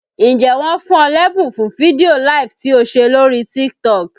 Ǹjẹ́ wọn fún ọ lẹ́bùn fún fídíò LIVE tí o ṣe lóríí TikTok?